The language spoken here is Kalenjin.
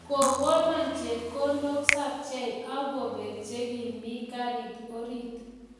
Kokono chepkondok sapchei ak kopek che kimii karit orit